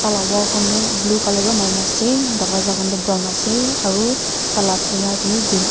tai la wall khan tu blue colour pra marina ase darwaja khan tu brown aru tala tina tu green a--